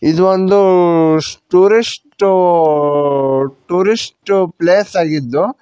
ಇದು ಒಂದು ಸ್ಟುರಿಸ್ಟ್ ಟೂರಿಸ್ಟ್ ಪ್ಲೇಸ್ ಆಗಿದ್ದು--